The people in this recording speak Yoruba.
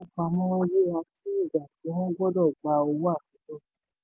ilé ìfowópamọ ń yíra sí ìgbà tí wọ́n gbọ́dọ̀ gba owó àtijọ́.